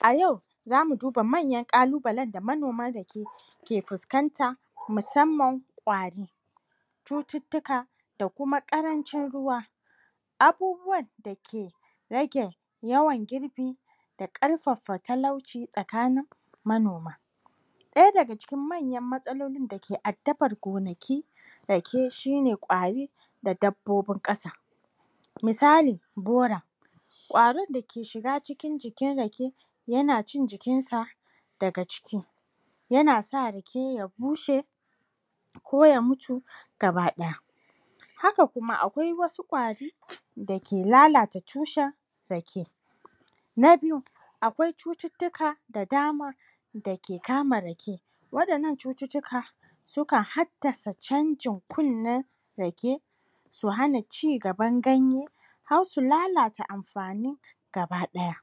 A yau zamu duba manyan ƙalubalen da manoman rake ke fuskanta musamman ƙwari, cutittika da kuma ƙarancin ruwa, abubuwanda ke rage yawan girbi da ƙarfafa talauci tsakanin manoma, ɗaya daga cikin manyan matsalolin dake addabar gonakin rake shine ƙwari da dabbobin ƙasa misali:Bora ƙwarin da ke shiga cikin jikin rake yana cin jikinsa daga ciki yana sa rake ya bushe, ko ya mutu gaba ɗaya, haka kuma akwai wasu ƙwari dake lalata tushen rake. Na biyu: Akwai cututtuka da dama da ke kama rake, waɗannan cutitttika sukan haddasa canjin kunnen rake, su hana cigaban ganye har su lalata amfani gaba ɗaya,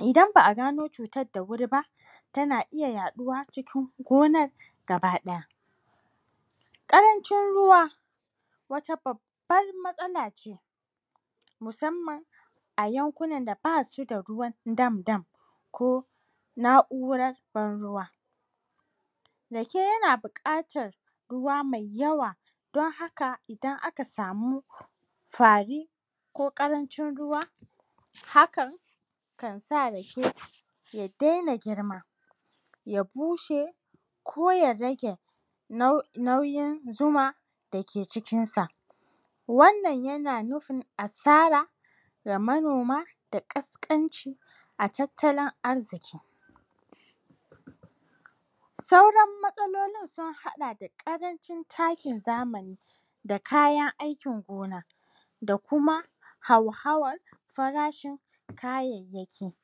idan ba'a gano cutadda wuri ba tana iya yaɗuwa cikin gonar gaba ɗaya, ƙarancin ruwa wata babbar matsala ce musamman a yankunan da basu da ruwan dam dam ko na'u'rar ban ruwa, rake yana buƙatar ruwa mai yawa don haka idan aka samu fari ko ƙarancin ruwa hakan kan sa rake ya daina girma, ya bushe ko ya rage nau...nauyin zuma dake cikinsa, wannan yana nufin asara ya manoma da ƙasƙanci, a tattalin arziki, sauran matsalolin sin haɗa da ƙarancin takin zamani da sauran kayan aikin gona, da kuma hauhawar farashin kayayyaki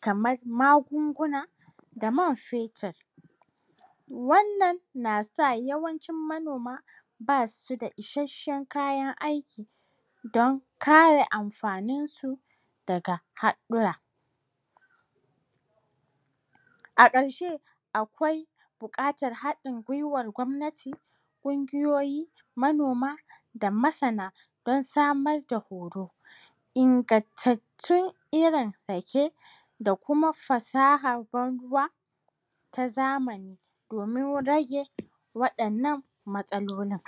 kamar magunguna da man fetir, wannan nasa yawancin manoma basida isheshshen kayan aiki don kare amfaninsu daga haɗɗura, a ƙarshe akwai buƙatar haɗin gwiwar gwamnati, ƙungiyoyi, manoma da masana don samar da horo. Ingantattun irin rake da kuma fasahar ban ruwa ta zamani domin rage waɗannan matsalolin.